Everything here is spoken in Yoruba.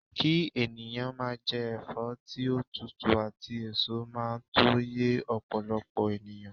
ki eniyan maa je efo ti o tutu ati eso maa to ye opolopo eniyan